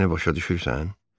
Məni başa düşürsən?